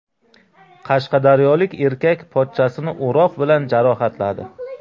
Qashqadaryolik erkak pochchasini o‘roq bilan jarohatladi.